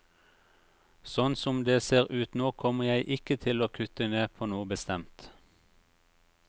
Sånn som det ser ut nå kommer jeg ikke til å kutte ned på noe bestemt.